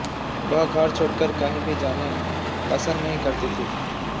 वह घर छोड़कर कहीं भी जाना पसंद नहीं करती थीं